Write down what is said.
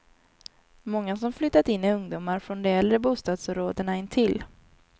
Många som flyttat in är ungdomar från de äldre bostadsområdena intill.